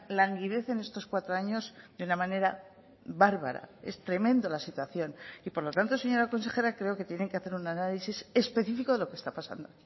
languidece en estos cuatro años de una manera bárbara es tremenda la situación y por lo tanto señora consejera creo que tienen que hacer un análisis específico de lo que está pasando